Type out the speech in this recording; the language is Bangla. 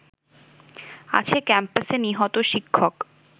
আছে ক্যাম্পাসে নিহত শিক্ষক